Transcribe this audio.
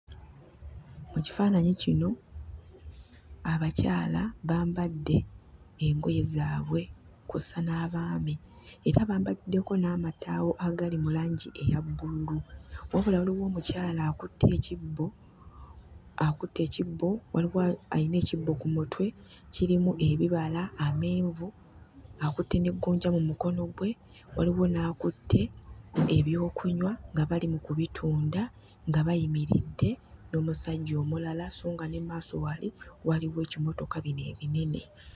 Mu kifaananyi kino, abakyala bambadde engoye zaabwe kw'ossa n'abaami. Era bambaliddeko n'amataawo agali mu langi eya bbululu. Wabula waliwo omukyala akutte ekibbo akutte ekibbo waliwo alina ekibbo ku mutwe kirimu ebibala, amenvu, akutte ne gonja mu mukono gwe. Waliwo n'akutte ebyokunywa nga bali mu kubitunda nga bayimiridde n'omusajja omulala sso nga ne mu maaso wali waliwo ebimotoka bino ebinene.